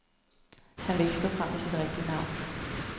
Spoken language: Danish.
Han vil ikke stå frem med sit rigtige navn.